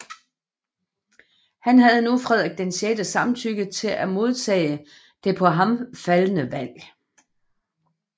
Han havde nu Frederik VIs samtykke til at modtage det på ham faldne valg